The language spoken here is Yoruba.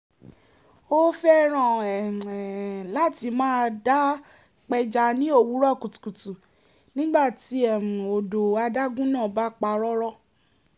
ó fẹ́ràn láti máa dá pẹja ní òwúrọ̀ kùtù nígbà tí um odò adágún náà bá pa rọ́rọ́